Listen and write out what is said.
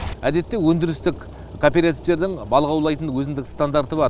әдетте өндірістік кооперативтердің балық аулайтын өзіндік стандарты бар